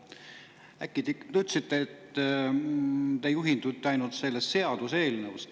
Te ikkagi ütlesite, et te juhindute ainult sellest seaduseelnõust.